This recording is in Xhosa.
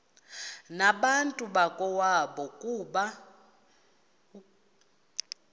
nabantu bakowabo ukuba